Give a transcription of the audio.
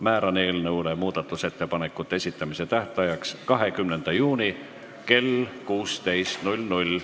Määran eelnõu muudatusettepanekute esitamise tähtajaks 20. juuni kell 16.